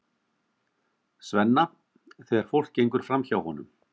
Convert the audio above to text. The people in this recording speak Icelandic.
Svenna þegar fólk gengur framhjá honum.